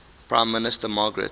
prime minister margaret